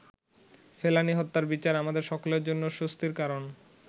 ফেলানী হত্যার বিচার আমাদের সকলের জন্য স্বস্তির কারণ।